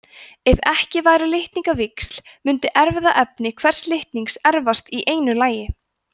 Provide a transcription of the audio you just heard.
ef ekki væru litningavíxl mundi erfðaefni hvers litnings erfast í einu lagi